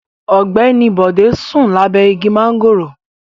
Ogbeni Bode sun labe igi mangoro